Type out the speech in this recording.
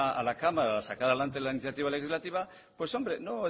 a la cámara a sacar adelante la iniciativa legislativa pues hombre no